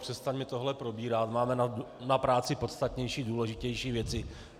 Přestaňme tohle probírat, máme na práci podstatnější a důležitější věci.